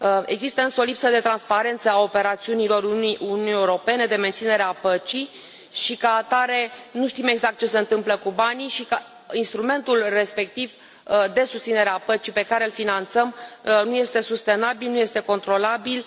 Există însă o lipsă de transparență a operațiunilor Uniunii Europene de menținere a păcii și, ca atare, nu știm exact ce se întâmplă cu banii și instrumentul respectiv de susținere a păcii pe care îl finanțăm nu este sustenabil, nu este controlabil.